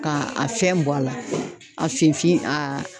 Ka a fɛn bɔ a la, a finfin a